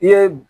I ye